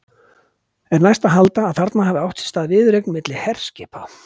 Er næst að halda, að þarna hafi átt sér stað viðureign milli herskipa.